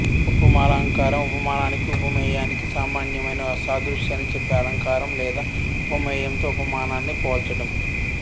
ఉపమాలంకారం ఉపమానానికి ఉపమేయానికి సామ్యమైన సాదృశాన్ని చెప్పే అలంకారం లేదా ఉపమేయంతో ఉపమానాన్ని పోల్చడం